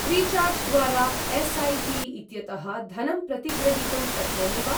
Freecharge द्वारा एस्.ऐ.पि.इत्यतः धनं प्रतिग्रहीतुं शक्नोमि वा?